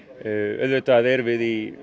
auðvitað erum við í